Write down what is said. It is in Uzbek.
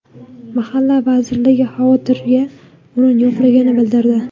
Mahalla vazirligi xavotirga o‘rin yo‘qligini bildirdi.